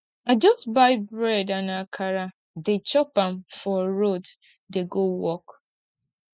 i just buy bread and akara dey chop am for road dey go work